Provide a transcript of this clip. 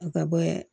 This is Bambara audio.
A ka bɔ